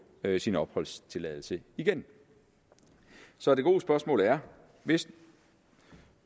sin opholdstilladelse igen så det gode spørgsmål er hvis